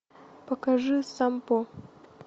покажи сампо